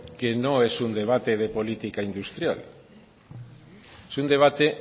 que no es un debate de política industrial es un debate